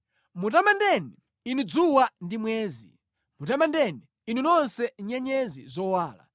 Mutamandeni, inu dzuwa ndi mwezi, mutamandeni, inu nonse nyenyezi zowala.